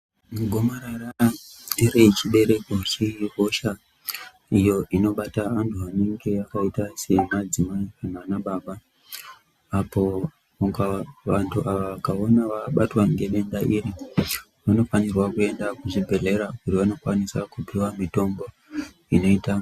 Gomarara rechibereko ihosha iyo inobata antu anenge akaita semadzimai nanababa apo ukava, vantu ava ukaona vabatwa ngedenda iri vanofanirwa kuenda kuchibhedhlera kuti vanokwanisa kupiwa mitombo inoita.